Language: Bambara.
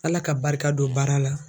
ALA ka barika don baara la.